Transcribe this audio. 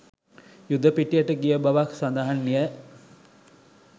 යුද පිටියට ගිය බවත් සඳහන් ය.